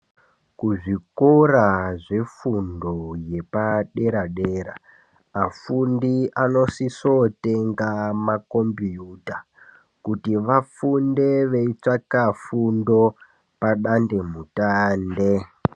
Kuzvikora zvefundo yepadera dera afundi anosise kutenga makombiyuta kuti vafunde veitsvaka fundo padandemutande.